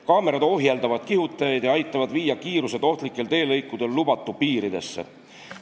Kaamerad ohjeldavad kihutajaid ja aitavad viia kiiruse ohtlikel teelõikudel lubatud piiridesse.